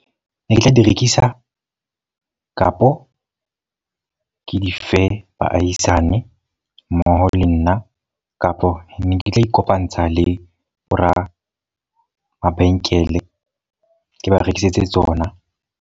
Ne ke tla di rekisa, kapo ke dife baahisane mmoho le nna. Kapo ne ke tla ikopantsha le bo ramabenkele ke ba rekisetse tsona.